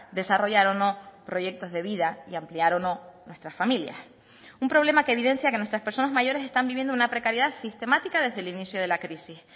desarrollar o no proyectos de vida y ampliar o no nuestras familias un problema que evidencia que nuestras personas mayores están viviendo una precariedad sistemática desde el inicio de la crisis